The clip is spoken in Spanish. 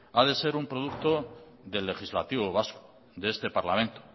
ha de ser un producto del legislativo vasco de este parlamento